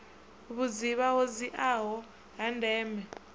vhudzivha ho dziaho ha ndeme